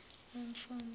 wemfundo